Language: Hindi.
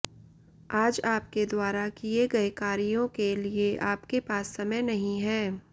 आज आपके द्वारा किए गए कार्यों के लिए आपके पास समय नहीं है